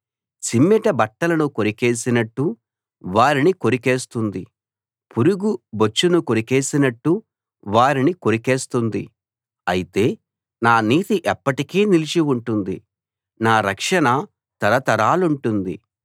చిమ్మెట బట్టలను కొరికేసినట్టు వారిని కొరికేస్తుంది పురుగు బొచ్చును కొరికేసినట్టు వారిని కొరికేస్తుంది అయితే నా నీతి ఎప్పటికీ నిలిచి ఉంటుంది నా రక్షణ తరతరాలుంటుంది